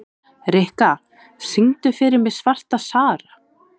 Rikka, syngdu fyrir mig „Svarta Sara“.